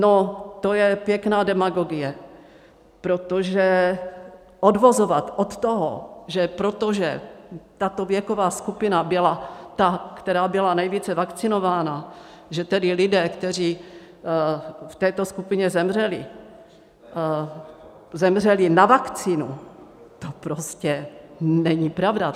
No, to je pěkná demagogie, protože odvozovat od toho, že protože tato věková skupina byla ta, která byla nejvíce vakcinovaná, že tedy lidé, kteří v této skupině zemřeli, zemřeli na vakcínu, to prostě není pravda.